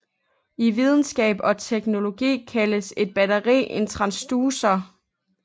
I videnskab og teknologi kaldes et batteri en transducer